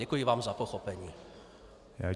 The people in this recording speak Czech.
Děkuji vám za pochopení.